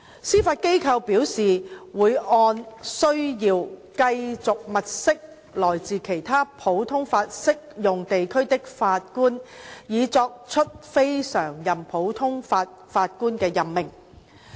司法機構表示會按需要繼續物色來自其他普通法適用地區的法官以作出非常任普通法法官的任命。